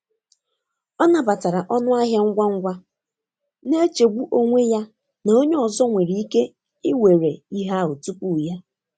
Ọ nabatara ọnụ ahịa ngwa ngwa, na-echegbu onwe ya na onye ọzọ nwere ike iwere ihe ahụ tupu ya.